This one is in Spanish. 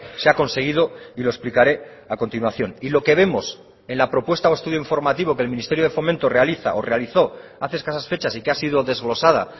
se ha conseguido y lo explicaré a continuación y lo que vemos en la propuesta o estudio informativo que el ministerio de fomento realiza o realizó hace escasas fechas y que ha sido desglosada